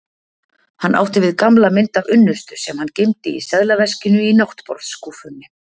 Hann átti við gamla mynd af unnustu sem hann geymdi í seðlaveskinu í náttborðsskúffunni.